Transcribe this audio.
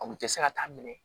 A kun tɛ se ka taa minɛ